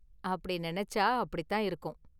அப்படி நினைச்சா அப்படிதான் இருக்கும்.